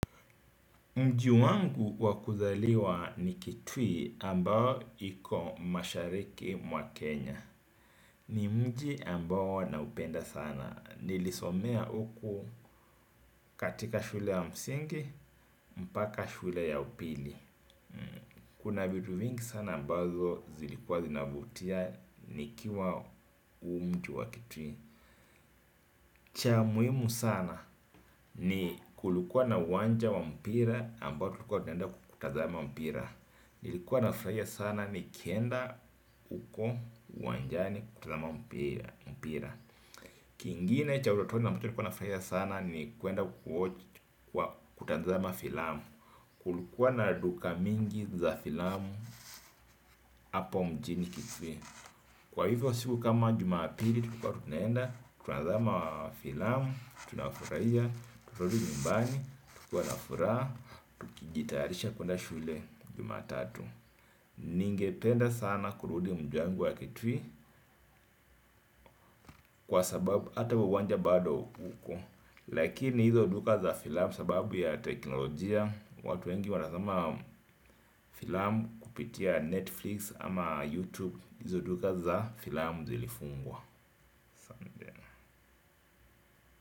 Mji wangu waku zaliwa ni kitui ambao iko mashariki mwa Kenya. Ni mji ambao na upenda sana. Nilisomea huku katika shule wa msingi, mpaka shule ya upili. Kuna vitu vingi sana ambazo zilikuwa zinavutia nikiwa umji wa kitui. Cha muhimu sana ni kulikua na uwanja wa mpira ambao tulikua tunenda kutazama mpira. Nilikuwa nafurahia sana nikienda huko uwanjani kutazama mpira. Kingine cha utotoni ambacho nilikuwa nafurahia sana ni kuenda kwa kutanzama filamu. Kulikuwa na duka mingi za filamu hapa mjini kisii. Kwa hivyo siku kama jumapili tulikua tunaenda kutanzama filamu, tunafurahia, tunarudi nyumbani, tukiwa nafuraha. Kijitayarisha kuenda shule jumatatu. Ningependa sana kurudi mji wangu ya kitui kwa sababu ata uwanja bado huko. Lakini hizo duka za filamu sababu ya teknolojia watu wengi wanatazama filamu kupitia Netflix ama YouTube. Hizo duka za filamu zilifungwa.